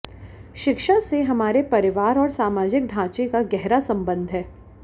शिक्षा से हमारे परिवार और सामाजिक ढांचे का गहरा संबंध है